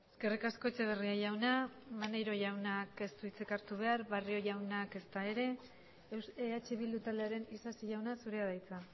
eskerrik asko etxeberria jauna maneiro jaunak ez du hitzik hartu behar barrio jaunak ezta ere eh bildu taldearen isasi jauna zurea da hitza